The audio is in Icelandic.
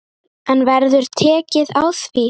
En verður tekið á því?